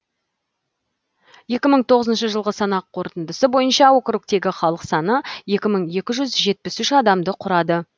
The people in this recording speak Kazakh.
екі мың тоғызыншы жылғы санақ қорытындысы бойынша округтегі халық саны екі мың екі жүз жетпіс үш адамды құрады